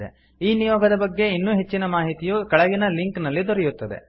ಈ ನಿಯೋಗದ ಬಗ್ಗೆ ಇನ್ನೂ ಹೆಚ್ಚಿನ ಮಾಹಿತಿಯು ಕೆಳಗಿನ ಲಿಂಕ್ ನಲ್ಲಿ ದೊರೆಯುತ್ತದೆ